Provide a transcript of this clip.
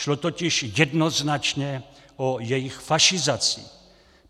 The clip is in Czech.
Šlo totiž jednoznačně o jejich fašizaci.